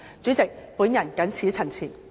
主席，我謹此陳辭。